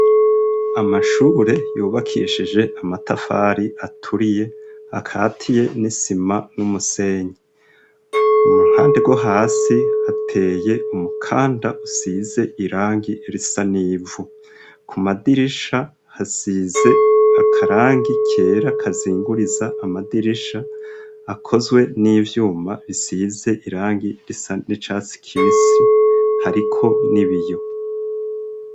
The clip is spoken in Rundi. Amashure yubakishije amatafari aturiye akatiye n'isima n'umusenyi. Muruhande rwo hasi hateye umukanda usize irangi risa n'ivu. Ku madirisha hasize akarangi kera kazinguriza amadirisha, akozwe n'ivyuma bisize irangi risa n'icatsi kibisi hariko n'ibiyo.